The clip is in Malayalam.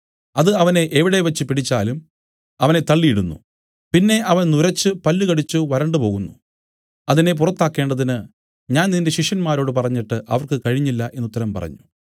അത് അവനെ എവിടെവച്ച് പിടിച്ചാലും അവനെ തള്ളിയിടുന്നു പിന്നെ അവൻ നുരച്ച് പല്ലുകടിച്ചു വരണ്ടുപോകുന്നു അതിനെ പുറത്താക്കേണ്ടതിന് ഞാൻ നിന്റെ ശിഷ്യന്മാരോട് പറഞ്ഞിട്ട് അവർക്ക് കഴിഞ്ഞില്ല എന്നു ഉത്തരം പറഞ്ഞു